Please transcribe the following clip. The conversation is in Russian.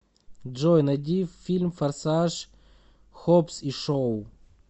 джой найди фильм форсаж хоббс и шоу